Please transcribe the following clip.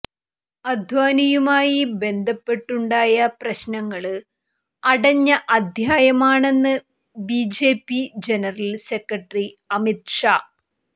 അദ്വാനിയുമായി ബന്ധപ്പെട്ടുണ്ടായ പ്രശ്നങ്ങള് അടഞ്ഞ അധ്യായമാണെന്ന് BJP general secretary Amit Shah